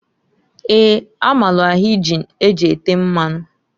Eeǃ A maalụ ahinji e ji ete mmanu.